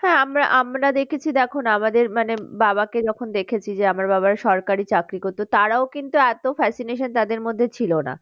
হ্যাঁ আমরা আমরা দেখেছি দেখো আমাদের মানে বাবাকে যখন দেখেছি যে আমার বাবার সরকারি চাকরি করতো তারাও কিন্তু এতো fascination তাদের মধ্যে ছিল না।